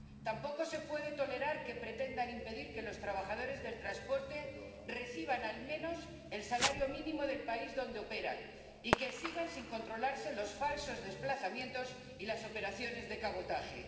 Tampoco se puede tolerar que pretendan impedir que los trabajadores del transporte reciban al menos el salario mínimo del país donde operan y que sigan sin controlarse los falsos desplazamientos y las operaciones de cabotaje.